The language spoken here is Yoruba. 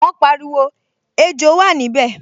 Wọ́n pariwo, 'Ejò wà níbẹ̀'